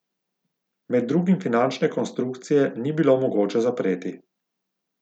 Med drugim finančne konstrukcije ni bilo mogoče zapreti.